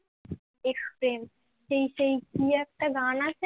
ex প্রেম সেই সেই কি একটা গান আছে না